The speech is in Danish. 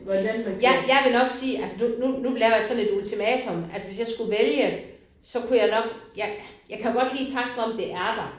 Jeg jeg vil nok sige altså du nu nu nu laver jeg sådan et ultimatum altså hvis jeg skulle vælge så kunne jeg nok jeg jeg kan jo godt lide tanken om at det er der